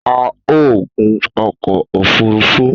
A o gun ọkọ òfurufú